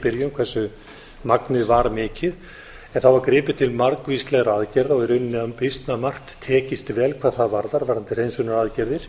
byrjun hversu magnið var mikið það var gripið til margvíslegra aðgerða og í rauninni býsna margt tekist vel hvað það varðar varðandi hreinsunaraðgerðir